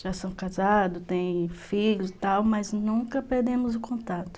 Já são casados, têm filhos e tal, mas nunca perdemos o contato.